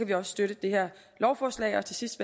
vi også støtte det her lovforslag og til sidst